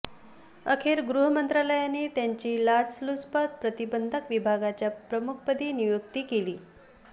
अखेर गृहमंत्रालयाने त्यांची लाचलुचपत प्रतिबंधक विभागाच्या प्रमुखपदी नियुक्ती केली